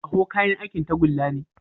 Ƙaho kayan aikin tagulla ne.